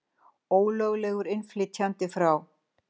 Ólöglegur innflytjandi frá